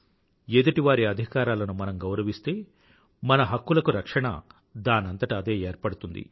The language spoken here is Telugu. ఎదుటివారి అధికారాలను మనం గౌరవిస్తే మన హక్కులకు రక్షణ దానంతట అదే ఏర్పడుతుంది